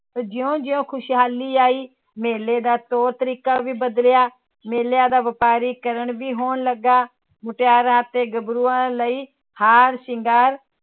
ਜਿਉਂ ਜਿਉਂ ਖ਼ੁਸ਼ਹਾਲੀ ਆਈ ਮੇਲੇ ਦਾ ਤੌਰ ਤਰੀਕਾ ਵੀ ਬਦਲਿਆ, ਮੇਲਿਆਂ ਦਾ ਵਪਾਰੀਕਰਨ ਵੀ ਹੋਣ ਲੱਗਾ, ਮੁਟਿਆਰਾਂ ਤੇ ਗੱਭਰੂਆਂ ਲਈ ਹਾਰ ਸ਼ਿੰਗਾਰ